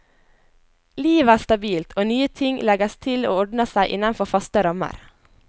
Livet er stabilt, og nye ting legges til og ordner seg innenfor faste rammer.